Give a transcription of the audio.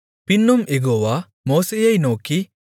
பின்னும் யெகோவா மோசேயை நோக்கி